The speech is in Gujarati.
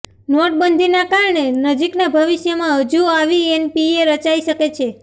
નોટબંધીના કારણે નજીકના ભવિષ્યમાં હજુ આવી એનપીએ રચાઈ શકે છે